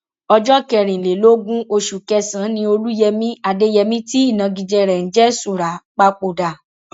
ọjọ kẹrìnlélógún oṣù kẹsànán ni olùyẹmi adéyẹmi tí ìnagijẹ rẹ ń jẹ súrà papòdà